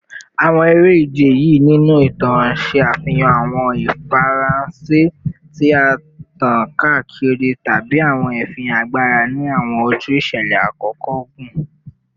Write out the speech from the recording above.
Awọn ere-ije yii ninu itan ṣe afihan awọn ifiranšẹ ti a tan kaakiri tabi awọn ifihan agbara ni awọn oju iṣẹlẹ akoko ogun